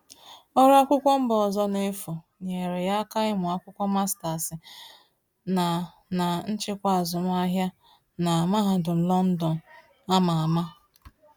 Ọrụ akwụkwọ mba ọzọ n’efu nyere ya aka ịmụ akwụkwọ master’s na na nchịkwa azụmahịa na mahadum London a ma ama.